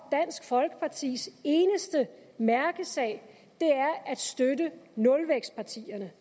dansk folkepartis eneste mærkesag er at støtte nulvækstpartierne